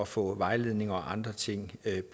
få vejledning og andre ting